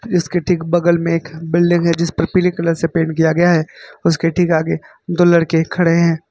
इसके ठीक बगल में एक बिल्डिंग है जिस पर पीले कलर से पेंट किया गया है उसके ठीक आगे दो लड़के खड़े हैं।